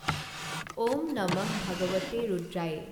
ঔঁ নমঃ ভাগৱতে ৰুদ্ৰায়ে।